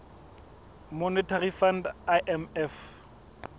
monetary fund imf